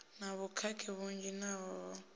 na vhukhakhi vhunzhi naho ho